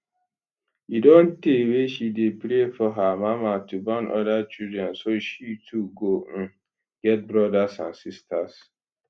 e don tay wey she dey pray for her mama to born oda children so she too go um get brothers and sisters